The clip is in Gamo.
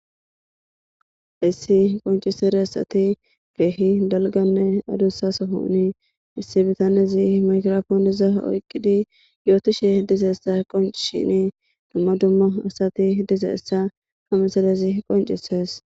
Issi qoncisere asati geehi dalganne adussasa houni issi bitanezi makrofooniza oyqidi yootishe dizaeessa qonci shini dumma dumma asati dizaessa hameselezi qoncisees.